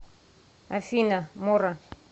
афина мора